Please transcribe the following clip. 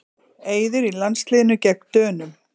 Eiður í landsliðinu gegn Dönum